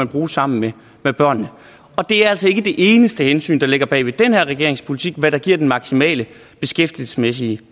bruge sammen med med børnene det er altså ikke det eneste hensyn der ligger bag den her regerings politik hvad der giver den maksimale beskæftigelsesmæssige